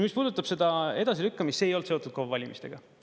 Mis puudutab seda edasilükkamist – see ei olnud seotud KOV-valimistega.